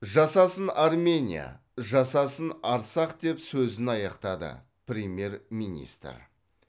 жасасын армения жасасын арцах деп сөзін аяқтады премьер министр